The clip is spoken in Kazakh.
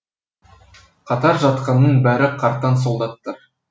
қатар жатқанның бәрі қартаң солдаттар